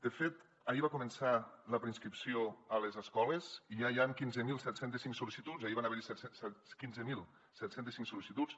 de fet ahir va començar la preinscripció a les escoles i ja hi han quinze mil set cents i cinc sol·licituds ahir van haver hi quinze mil set cents i cinc sol·licituds